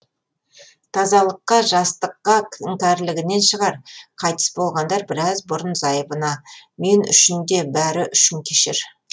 тазалыққа жастыққа іңкәрлігінен шығар қайтыс болардан біраз бұрын зайыбына мен үшін де бәрі үшін кешір